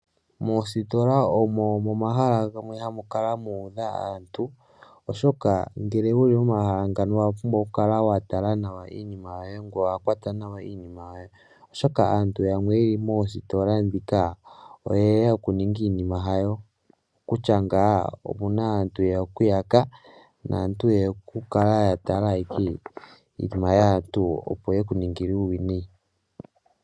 Moositola omo momahala gamwe hamu kala mu udha, oshoka ngele wuli momahala ngano owa pumbwa oku kala wa tala nawa iinima yoye, ngoye owa kwata nawa iinima yoye, oshoka aantu yamwe yeli moositola ndhika oye ya okuninga iinima hayo, okutya ngaa omuna aantu ye ya oku yaka, naantu ye ya oku kala ya tala ike iinima yaantu opo yeku ningile uuwinayi.